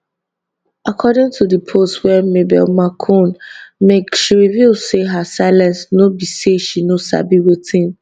according to di post wey mabel makun make she reveal say her silence no be say she no sabi wetin